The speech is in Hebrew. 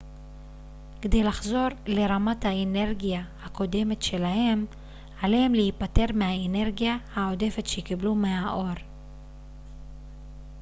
כדי לחזור לרמת האנרגיה הקודמת שלהם עליהם להיפטר מהאנרגיה העודפת שקיבלו מהאור